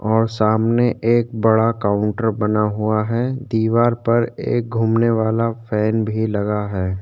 और सामने एक बड़ा काउंटर बना हुआ है दिवार पर एक घूमने वाला फैन भी लगा है।